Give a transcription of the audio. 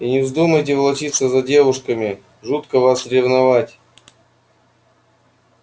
и не вздумайте волочиться за девушками жутко вас ревновать